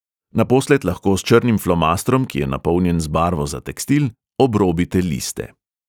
Naposled lahko s črnim flomastrom, ki je napolnjen z barvo za tekstil, obrobite liste.